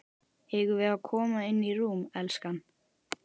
Eigum við að koma inn í rúm, elskan?